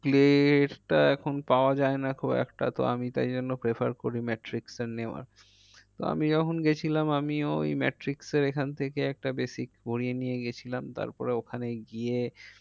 Clat এর টা এখন পাওয়া যায় নাকো একটা তো আমি তাই জন্য prefer করি matrix এ নেওয়ার। তো আমি যখন গেছিলাম আমিও ওই matrix এর এখান থেকে একটা basic পরিয়ে নিয়ে গিয়েছিলাম তারপরে ওখানে গিয়ে।